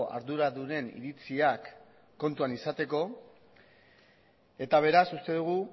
arduradunen iritziak kontuan izateko eta beraz uste dugu